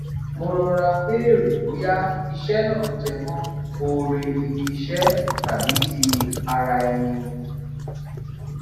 mo rọra béèrè bóyá iṣé náà jẹmọ oore ibi iṣẹ tàbí ti ara ẹni